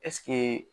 Ɛseke